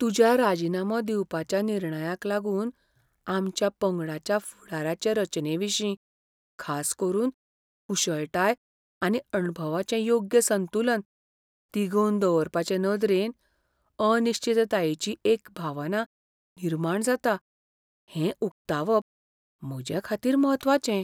तुज्या राजिनामो दिवपाच्या निर्णयाक लागून आमच्या पंगडाच्या फुडाराचे रचनेविशीं, खास करून कुशळटाय आनी अणभवाचें योग्य संतुलन तिगोवन दवरपाचे नदरेन, अनिश्चिततायेची एक भावना निर्माण जाता हें उकतावप म्हजेखातीर म्हत्वाचें.